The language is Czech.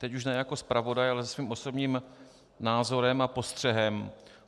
Teď už ne jako zpravodaj, ale se svým osobním názorem a postřehem.